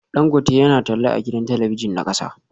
Dangote yana talla a gidan talabijin na kasa